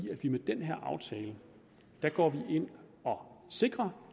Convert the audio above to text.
vi med den her aftale går ind og sikrer